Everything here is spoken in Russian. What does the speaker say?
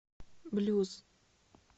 блюз